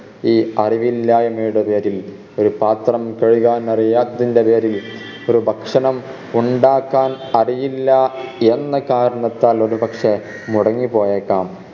ഈ അറിവില്ലായ്‌മയുടെ പേരിൽ ഒരു പാത്രം കഴുകാൻ അറിയാത്തതിൻറെ പേരിൽ ഒരു ഭക്ഷണം ഉണ്ടാക്കാൻ അറിയില്ല എന്ന കാരണത്താൽ ഒരു പക്ഷേ മുടങ്ങിപ്പോയേക്കാം